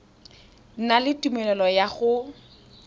na le tumelelo ya go